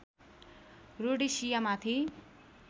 Rhodesia माथि